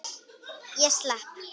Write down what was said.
Ég slepp.